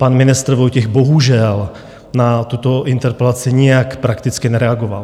Pan ministr Vojtěch bohužel na tuto interpelaci nijak prakticky nereagoval.